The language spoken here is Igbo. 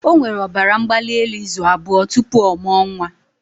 O nwere ọbara mgbali elu izu abụọ tupu ọ mụọ nwa